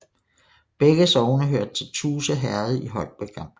Begge sogne hørte til Tuse Herred i Holbæk Amt